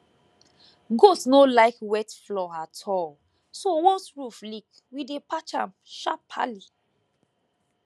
goat no like wet floor at all so once roof leak we dey patch am sharperly